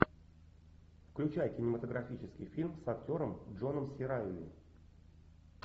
включай кинематографический фильм с актером джоном си райли